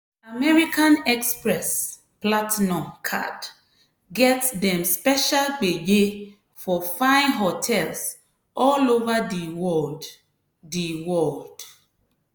american express platinum card get dem special gbege for fine hotels all over di world. di world.